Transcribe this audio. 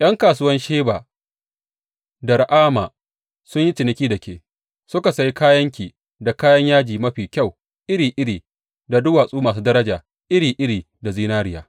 ’Yan kasuwan Sheba da Ra’ama sun yi ciniki da ke; suka sayi kayanki da kayan yaji mafi kyau iri iri, da duwatsu masu daraja iri iri, da zinariya.